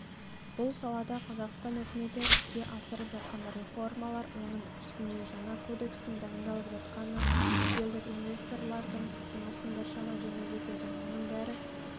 бұл салада қазақстан үкіметі іске асырып жатқан реформалар оның үстіне жаңа кодекстің дайындалып жатқаны шетелдік инвесторлардың жұмысын біршама жеңілдетеді мұның бәрі